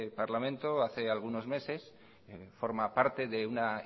parlamente hace algunos meses forma parte de una